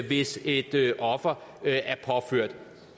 hvis et offer